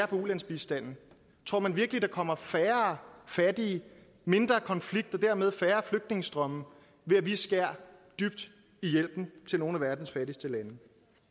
på ulandsbistanden tror man virkelig der kommer færre fattige mindre konflikt og dermed færre flygtningestrømme ved at vi skærer dybt i hjælpen til nogle af verdens fattigste lande